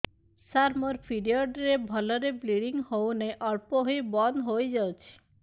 ସାର ମୋର ପିରିଅଡ଼ ରେ ଭଲରେ ବ୍ଲିଡ଼ିଙ୍ଗ ହଉନାହିଁ ଅଳ୍ପ ହୋଇ ବନ୍ଦ ହୋଇଯାଉଛି